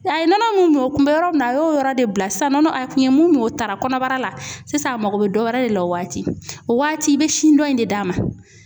A ye nɔnɔ mun kun bɛ yɔrɔ min na a y'o yɔrɔ de bila sisan nɔnɔ a kun ye mun o taara kɔnɔbara la sisan a mago bɛ dɔ wɛrɛ de la o waati o waati i be sin dɔ in de d'a ma.